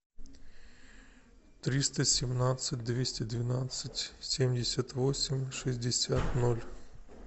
триста семнадцать двести двенадцать семьдесят восемь шестьдесят ноль